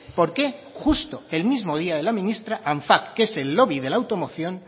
por qué justo el mismo día de la ministra anfac que es el lobby de la automoción